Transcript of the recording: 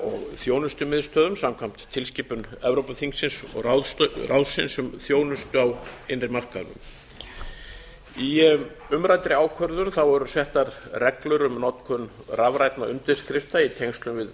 og þjónustumiðstöðvum samkvæmt tilskipun evrópuþingsins og ráðsins um þjónustu á innri markaðnum í umræddri ákvörðun eru settar reglur um notkun rafrænna undirskrifta í tengslum við